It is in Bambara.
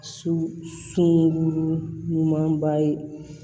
Su sunu ɲumanba ye